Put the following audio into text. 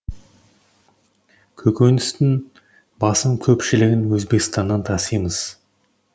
көкөністің басым көпшілігін өзбекстаннан тасимыз